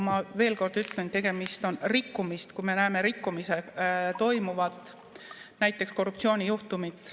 Ma veel kord ütlen, et tegemist on sellega, kui me näeme rikkumist toimuvat, näiteks korruptsioonijuhtumit.